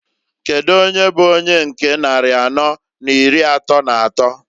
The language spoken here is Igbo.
Kedu ony bu onye nke nnari anọọ na iri atọọ n'atọọ?